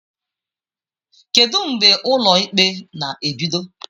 Kedu mgbe ụlọ ikpe na-ebido?